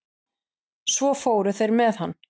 Svo fóru þeir með hann.